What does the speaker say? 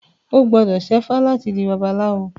O gbọ́dọ̀ ṣẹ́fá láti di babaláwo.